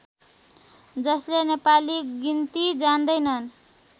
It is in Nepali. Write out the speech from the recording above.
जसले नेपाली गिन्ती जान्दैनन्